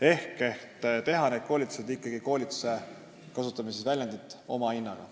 Eesmärk on teha need koolitused ikkagi koolituse omahinnaga – kasutame siis sellist väljendit.